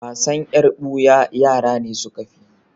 Wasan yar buya yara ne suka fi yi.